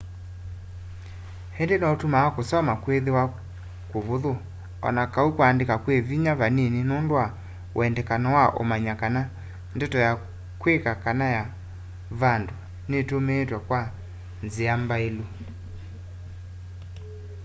ĩngĩ noĩtumaa kũsoma kwĩthĩwa kũvũthũ o na kau kwandĩka kwĩ vinya vanini nũndũ wa wendekano wa ũmanya kana ndeto ya kwĩka kana ya vandũ ĩtũmĩĩtwe kwa nthĩa mbaĩlu